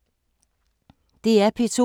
DR P2